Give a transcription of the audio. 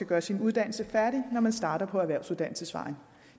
gøre sin uddannelse færdig når man starter på erhvervsuddannelsesvejen